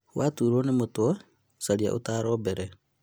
Watuurwo nĩ mũtwe caria ũtaaro mbere